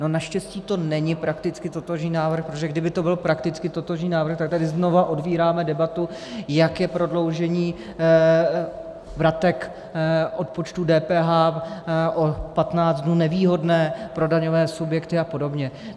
No naštěstí to není prakticky totožný návrh, protože kdyby to byl prakticky totožný návrh, tak tady znova otvíráme debatu, jak je prodloužení vratek odpočtu DPH o 15 dnů nevýhodné pro daňové subjekty a podobně.